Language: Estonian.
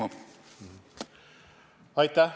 Aeg on läbi!